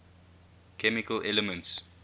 chemical elements